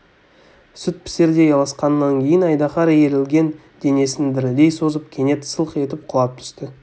сүт пісердей алысқаннан кейін айдаһар иірілген денесін дірілдей созып кенет сылқ етіп құлап түсті